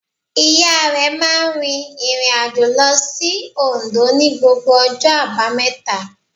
Ìya rẹ̀ máa n rìn ìrìnàjò lo sí Ondó ní gbogbo ọjọ́ àbámẹ̀ta